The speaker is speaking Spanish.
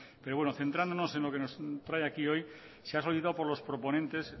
centrándonos en lo que nos trae aquí hoy se ha solicitado por los proponentes